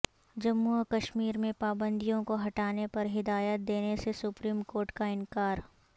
جموں و کشمیر میں پابندیوں کو ہٹانے پر ہدایت دینےسےسپریم کورٹ کا انکار